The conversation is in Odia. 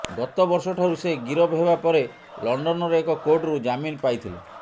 ଗତ ବର୍ଷଠାରୁ ସେ ଗିରଫ ହେବା ପରେ ଲଣ୍ଡନର ଏକ କୋର୍ଟରୁ ଜାମିନ ପାଇଥିଲେ